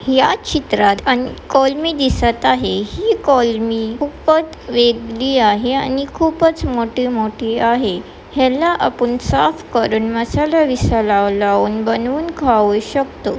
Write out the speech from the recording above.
या चित्रात कोलमी दिसत आहे हि कोलमी खूपच वेगळी आहे आणि खूपच मोठे-मोठे आहे ह्याला आपुण साफ करून मसाला विसाला लावून बनवून खवू शकतो.